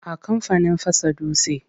A kamfanin fasa dutse.